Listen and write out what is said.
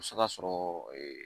O bɛ se ka sɔrɔ